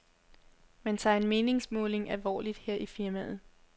Man tager en meningsmåling alvorligt her i firmaet.